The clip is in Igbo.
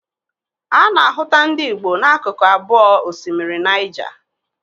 A na-ahụta ndị Igbo na akụkụ abụọ osimiri Nịaja.